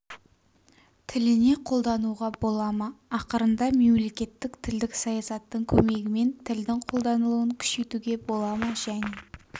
тіліне қолдануға бола ма ақырында мемлекеттік тілдік саясаттың көмегімен тілдің қолданылуын күшейтуге бола ма және